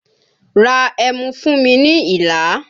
Ra ẹmu fún mi ní Ìlá!